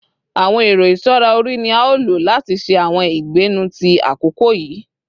Àwọn ẹ̀rọ ìṣọra orí ni a o lo lati ṣe àwọn ìgbẹ́nú ti àkókò yìí.